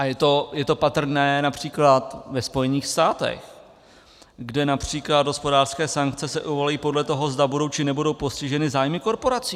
A je to patrné například ve Spojených státech, kde například hospodářské sankce se uvalují podle toho, zda budou, či nebudou postiženy zájmy korporací.